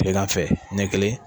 Kilegan fɛ ɲɛ kelen